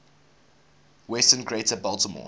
western greater baltimore